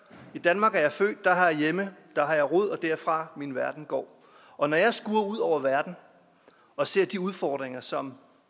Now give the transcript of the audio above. i danmark er jeg født der har jeg hjemme der har jeg rod derfra min verden går og når jeg skuer ud over verden og ser de udfordringer som